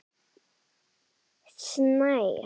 Birnir Snær Ingason og Höskuldur Gunnlaugsson byrja báðir.